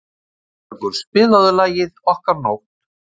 Sigurbergur, spilaðu lagið „Okkar nótt“.